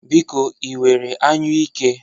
Biko, ị nwere anyụike?